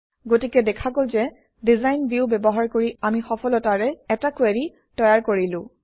গতিকে দেখা গল যে ডিজাইন ভিউ ব্যৱহাৰ কৰি আমি সফলতাৰে এটা কুৱেৰি তৈয়াৰ কৰিলো